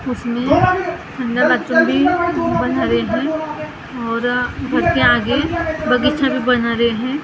उसमे बनारहे है और घर के आगे बगीचा भी बना रहे हैं ।